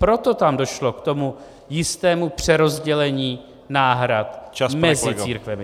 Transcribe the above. Proto tam došlo k tomu jistému přerozdělení náhrad mezi církvemi.